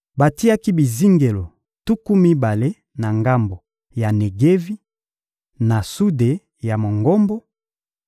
Batiaki bizingelo tuku mibale na ngambo ya Negevi, na sude ya Mongombo,